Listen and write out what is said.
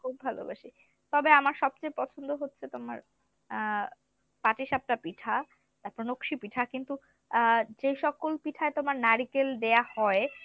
ভালোবাসি, তবে আমার সবচেয়ে পছন্দ হচ্ছে তোমার আহ পাঠিসাপ্তহা পিঠা এরপর নকসী পিঠা কিন্তু আহ যে সকল পিঠায় তোমার নারিকেল দেয়া হয়